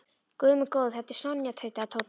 Guð minn góður, þetta er Sonja tautaði Tóti.